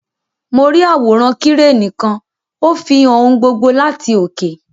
Mo ri àwòrán Kireni kan; o fihàn ohùn gbogbo láti oke.